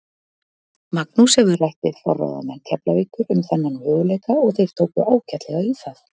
Magnús hefur rætt við forráðamenn Keflavíkur um þennan möguleika og þeir tóku ágætlega í það.